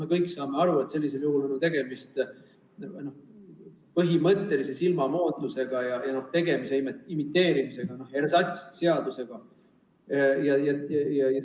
Me kõik saame aru, et sellisel juhul on tegemist põhimõtteliselt silmamoondamise ja imiteerimisega, ersatsseadusega.